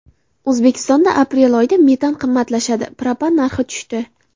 O‘zbekistonda aprel oyida metan qimmatlashdi, propan narxi tushdi.